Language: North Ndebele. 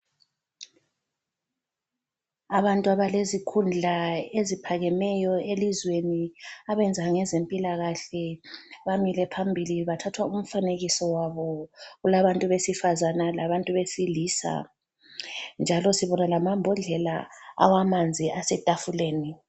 Abantu abalezikhundla eziphakemeyo elizweni abenza ngezempilakahle bamile phambili bathathwa umfanekiso wabo. Kulabantu besifazana labantu besilisa njalo sibona lamambodlela awamanzi asetafuleni.